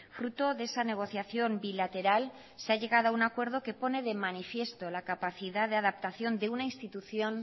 fruto de esa negociación bilateral se ha llegado a un acuerdo que pone de manifiesto la capacidad de adaptación de una institución